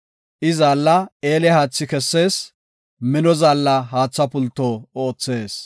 I zaalla eele haathi kessees; mino zaalla haatha pulto oothees.